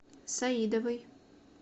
саидовой